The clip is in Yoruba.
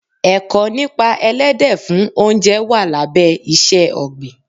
Ẹ̀kọ́ nípa Elédè fún oúnjẹ wà lábẹ́ iṣẹ́ ọ̀gbìn.